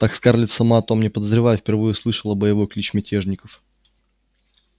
так скарлетт сама о том не подозревая впервые услышала боевой клич мятежников